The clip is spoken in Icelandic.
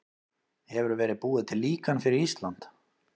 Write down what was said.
Hefur verið búið til líkan fyrir Ísland?